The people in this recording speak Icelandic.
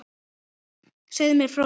Segðu mér frá því?